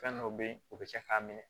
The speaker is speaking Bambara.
Fɛn dɔw be ye u be cɛ k'a minɛ